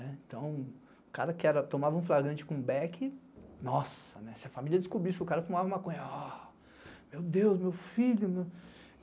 Então, o cara que tomava um flagrante com o beck, nossa, se a família descobrisse que o cara fumava maconha, meu Deus, meu filho.